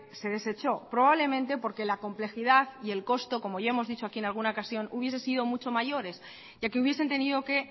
se desechó probablemente porque la complejidad y el costo como ya hemos dicho aquí en alguna ocasión hubiese sido mucho mayores ya que hubiesen tenido que